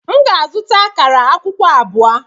M ga-azụta akara akwukwo abụọ.